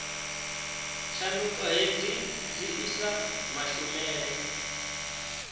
tshanduko hedzi dzi isa mashumele